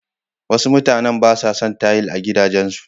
Wasu mutanen ba sa son tayil a gidajensu.